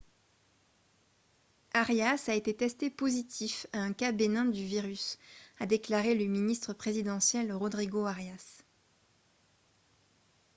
arias a été testé positif à un cas bénin du virus a déclaré le ministre présidentiel rodrigo arias